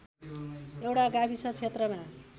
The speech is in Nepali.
एउटा गाविस क्षेत्रमा